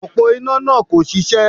Òpó iná náà kò ṣiṣẹ́